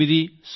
తొమ్మిది